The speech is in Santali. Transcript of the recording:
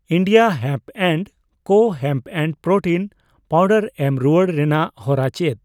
ᱤᱱᱰᱤᱭᱟ ᱦᱮᱢᱯ ᱮᱱᱰ ᱠᱳ ᱦᱮᱢᱯ ᱯᱨᱳᱴᱤᱱ ᱯᱟᱣᱰᱟᱨ ᱮᱢ ᱨᱩᱣᱟᱹᱲ ᱨᱮᱱᱟᱜ ᱦᱚᱨᱟ ᱪᱮᱫ?